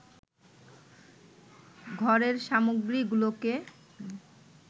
ঘরের সামগ্রীগুলোকে